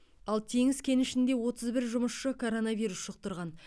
ал теңіз кенішінде отыз бір жұмысшы коронавирус жұқтырған